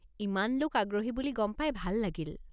ইমান লোক আগ্রহী বুলি গম পাই ভাল লাগিল।